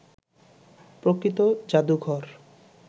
প্রকৃত জাদুঘর